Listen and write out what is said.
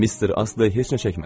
Mister Astley heç nə çəkmədi.